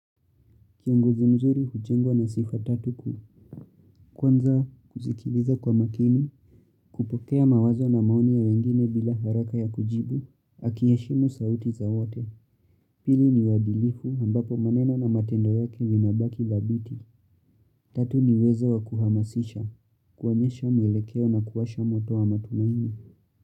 Kiongozi mzuri hujengwa na sifa tatu kuu, kwanza kusikiliza kwa makini, kupokea mawazo na maoni ya wengine bila haraka ya kujibu, akiyaheshimu sauti za wote, pili ni uwadilifu ambapo maneno na matendo yake yanabaki thabiti, tatu ni uwezo wa kuhamasisha, kuonyesha mwelekeo na kuwasha moto wa matumaini.